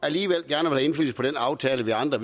alligevel gerne ville på den aftale vi andre